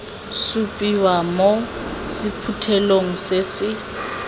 supiwa mo sephuthelong se se